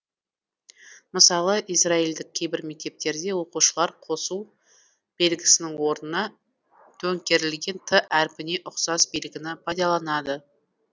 мысалы израильдік кейбір мектептерде оқушылар қосу белгісінің орнына төңкерілген т әрпіне ұқсас белгіні пайдаланады